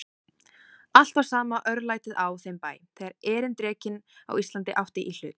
Alltaf var sama örlætið á þeim bæ, þegar erindrekinn á Íslandi átti í hlut.